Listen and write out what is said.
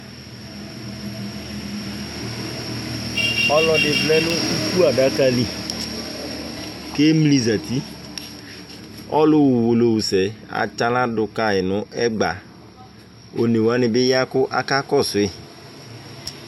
ɔlɔdɩ vlɛ nʊ adaka li, emli zati ɔlu ɣa uwolowusɛ eyǝɣla dʊ kayi nʊ ɛgba, onewanɩ bɩ ya kʊ akakɔsu yi